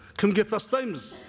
кімге тастаймыз